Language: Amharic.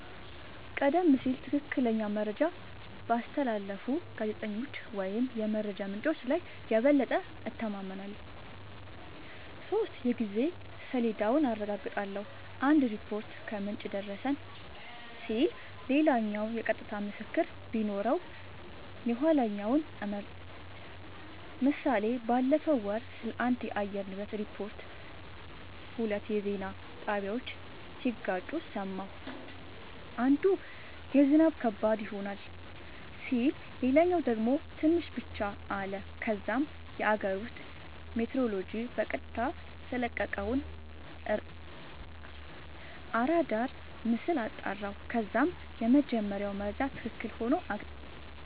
:-ቀደም ሲል ትክክለኛ መረጃ ባስተላለፉ ጋዜጠኞች ወይም የመረጃ ምንጮች ላይ የበለጠ እተማመናለሁ። 3 የጊዜ ሰሌዳውን አረጋግጣለሁ :- አንድ ሪፖርት "ከምንጭ የደረሰን" ሲል ሌላኛው የቀጥታ ምስክር ቢኖረው የኋለኛውን እመርጣለሁ ## ምሳሌ ባለፈው ወር ስለአንድ የአየር ንብረት ሪፖርት ሁለት የዜና ጣቢያወች ሲጋጩ ሰማሁ። አንዱ "ዝናብ ከባድ ይሆናል " ሲል ሌላኛው ደግሞ "ትንሽ ብቻ " አለ። ከዛም የአገር ውስጥ ሜትሮሎጅ በቀጥታ የለቀቀውን አራዳር ምስል አጣራሁ ከዛም የመጀመሪያው መረጃ ትክክል ሆኖ አገኘሁት